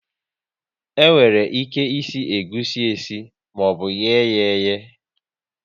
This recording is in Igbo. E nwere ike ịsị egusi esi maọbụ ye yá eyee